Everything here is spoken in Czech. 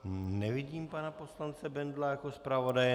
Nevidím pana poslance Bendla jako zpravodaje.